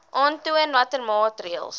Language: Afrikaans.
aantoon watter maatreëls